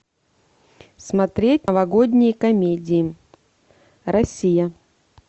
смотреть новогодние комедии россия